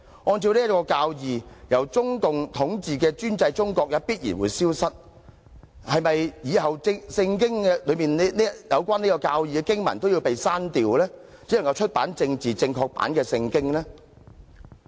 按着這教義，由中共統治的專制中國也必然會消失，那麼，是否以後《聖經》中有關這教義的經文都要刪掉，只能出版政治正確版的《聖經》呢？